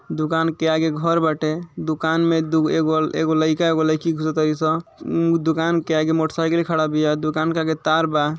दुकान के आगे घर बाटे। दुकान में दुग एगो एगो लइका एगो लईकी घुसतारी स। उं दुकान के आगे मोटसाइकिल खाड़ा बिया दुकान के आगे तार बा।